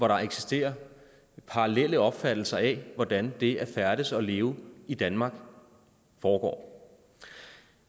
der eksisterer parallelle opfattelser af hvordan det at færdes og leve i danmark foregår